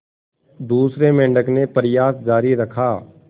दूसरे मेंढक ने प्रयास जारी रखा